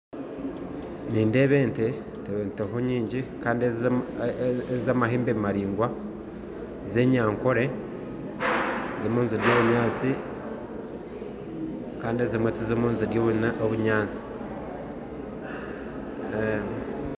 Nindeeba ente, ente nyingi kandi ente z'amahembe amaraingwa ez'enyankore zirimu nizirya obunyasi kandi ezimwe tizirimu nizirya obunyatsi